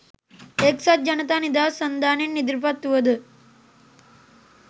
එක්සත් ජනතා නිදහස් සන්ධානයෙන් ඉදිරිපත් වුවද